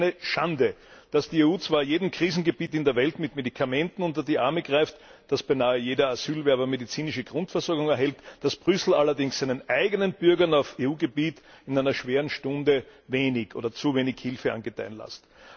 Es ist eine Schande, dass die EU zwar jedem Krisengebiet in der Welt mit Medikamenten unter die Arme greift, dass beinahe jeder Asylwerber medizinische Grundversorgung erhält, dass Brüssel allerdings seinen eigenen Bürgern auf EU Gebiet in einer schweren Stunde wenig oder zu wenig Hilfe angedeihen lässt.